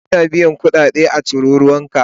Ana biyan kudade a tarurruka